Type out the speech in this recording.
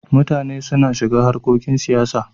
Mutane suna shiga harkokin siyasa.